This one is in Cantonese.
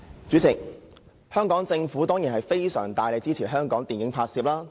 主席，政府當然應大力支持電影拍攝。